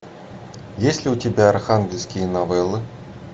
есть ли у тебя архангельские новеллы